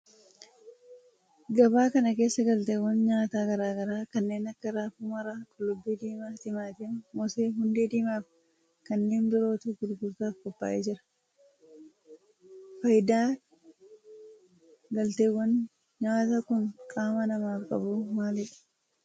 Gabaa kana keessaa galteewwan nyaataa garaa garaa kanneen akka raafuu maramaa, qullubbii diimaa, timaatima, moosee, hundee diimaa fi kanneen birootu gurgurtaaf qophaa'ee jira. faayidan galteewwan nyaataa kun qaama namaaf qabu maalidha?